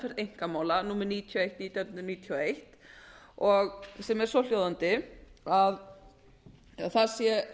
einkamála númer níutíu og eitt nítján hundruð níutíu og eitt að hægt sé